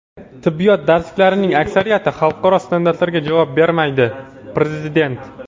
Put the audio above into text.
"Tibbiyot darsliklarining aksariyati xalqaro standartlarga javob bermaydi" - prezident.